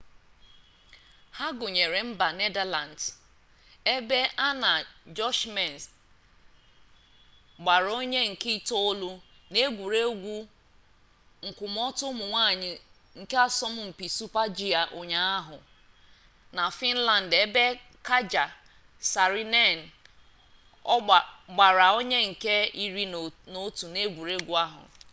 ha gụnyere mba nedalands ebe anna jochemsen gbara onye nke itoolu n'egwuregwu nkwụmọtọ ụmụ nwanyị nke asọmpi super-g ụnyaahụ na fịnland ebe katja saarinen gbara onye nke iri n'otu egwuregwu ahụ